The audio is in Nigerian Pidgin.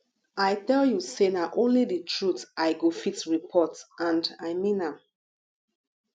i tell you say na only the truth i go fit report and i mean am